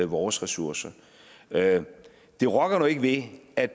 vores ressourcer det rokker nu ikke ved at